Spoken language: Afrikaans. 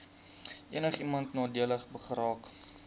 enigiemand nadelig geraak